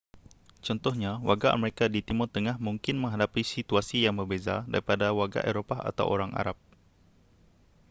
contohnya warga amerika di timur tengah mungkin menghadapi situasi yang berbeza daripada warga eropah atau orang arab